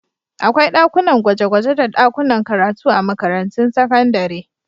Akwai dakunan gwaje-gwaje da dakunan karatu a makarantun sakandare.